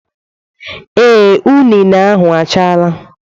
Ee, unine ahụ achaala.